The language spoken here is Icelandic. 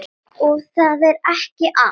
Og það er ekki allt.